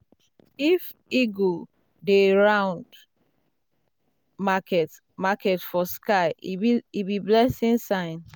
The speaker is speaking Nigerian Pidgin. if eagle dey um round um market market for sky um e be blessing sign.